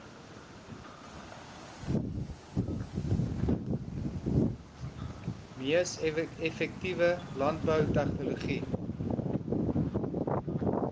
mees effektiewe landboutegnologie